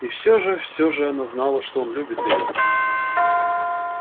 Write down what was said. и все же все же она знала что он любит её